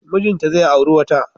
Mijinta zai auri wata.